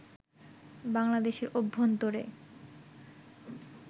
বাংলাদেশের অভ্যন্তরে